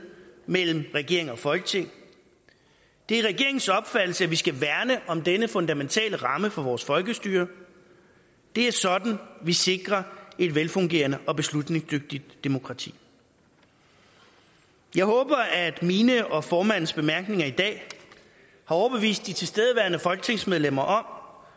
mellem regering og folketing det er regeringens opfattelse at vi skal værne om denne fundamentale ramme for vores folkestyre det er sådan vi sikrer et velfungerende og beslutningsdygtigt demokrati jeg håber at mine og formandens bemærkninger i dag har overbevist de tilstedeværende folketingsmedlemmer om